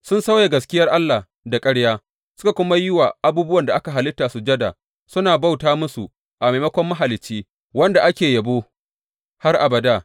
Sun sauya gaskiyar Allah da ƙarya, suka kuma yi wa abubuwan da aka halitta sujada suna bauta musu a maimakon Mahalicci, wanda ake yabo har abada.